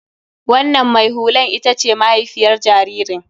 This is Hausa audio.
Wannan mai hulan ita ce mahaifiyar jaririn.